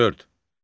Dörd.